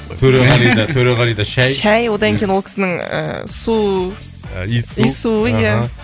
төреғалида төреғалида шай шай одан кейін ол кісінің ііі су иіс су иіс суы иә аха